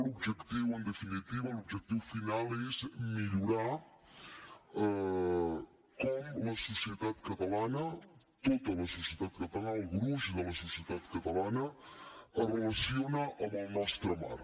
l’objectiu en definitiva l’objectiu final és millorar com la societat catalana tota la societat catalana el gruix de la societat catalana es relaciona amb el nostre mar